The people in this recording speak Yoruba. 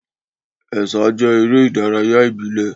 Ẹ̀sà jẹ́ eré ìdárayá ìbílẹ̀.